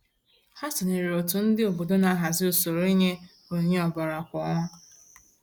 Ha sonyeere òtù ndị obodo na-ahazị usoro inye onyinye ọbara kwa ọnwa.